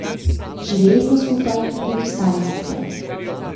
Živeli smo skupaj in ostali skupaj.